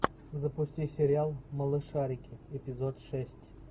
запусти сериал малышарики эпизод шесть